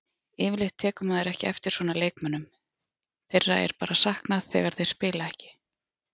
Yfirleitt tekur maður ekki eftir svona leikmönnum, þeirra er bara saknað þegar þeir spila ekki.